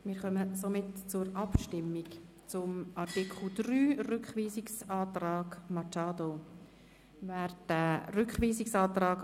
Damit kommen wir zur Abstimmung über den Rückweisungsantrag Machado zu Artikel 3: